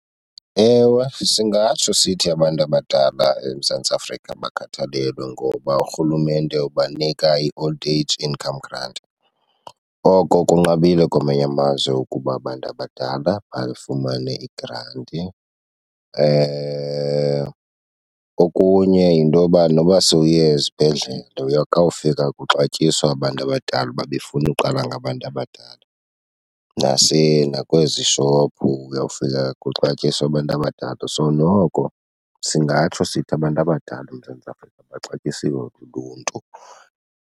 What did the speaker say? Ewe, singatsho sithi abantu abadala eMzantsi Afrika bakhathalelwe ngoba urhulumente ubanika i-old age income grant. Oko kunqabile kwamanye amazwe ukuba abantu abadala bafumane igranti. Okunye yintoba noba sowuye esibhedlele kawufika kuxatyiswa abantu abadala, uba befuna uqala ngabantu abadala. Nakwezi shophu uyawufika kuxatyiswa abantu abadala. So noko singatsho sithi abantu abadala eMzantsi Afrika baxatyisiwe luluntu.